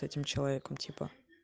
этим человеком типа